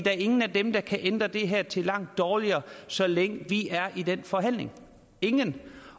er ingen af dem der kan ændre det her til noget langt dårligere så længe vi er i den forhandling ingen